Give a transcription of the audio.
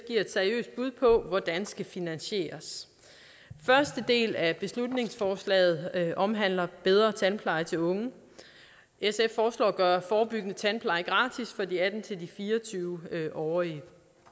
et seriøst bud på hvordan skal finansieres første del af beslutningsforslaget omhandler bedre tandpleje til unge sf foreslår at gøre forebyggende tandpleje gratis for de atten til fire og tyve årige